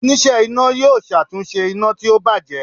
onise iná yọọ ṣatunṣe ina ti o bajẹ.